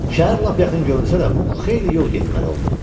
Şəhər lap yaxın görünsə də, Muk xeyli yol getməli oldu.